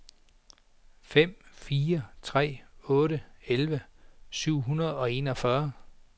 fem fire seks otte elleve syv hundrede og enogfyrre